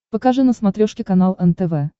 покажи на смотрешке канал нтв